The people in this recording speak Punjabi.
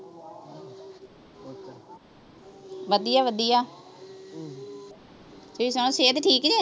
ਵਧੀਆ-ਵਧੀਆ ਸਿਹਤ ਠੀਕ ਨੀਂ